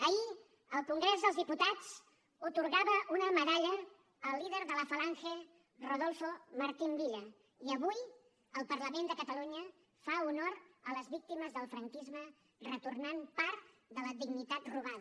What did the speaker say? ahir el congrés dels diputats atorgava una medalla al líder de la falange rodolfo martín villa i avui el parlament de catalunya fa honor a les víctimes del franquisme retornant part de la dignitat robada